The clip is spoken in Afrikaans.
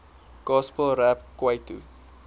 gospel rap kwaito